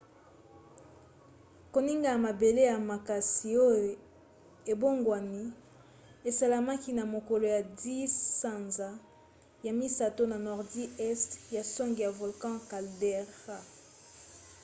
koningana ya mabele ya makasi oyo ebongwani esalamaki na mokolo ya 10 sanza ya misato na nordi este ya songe ya volcan caldera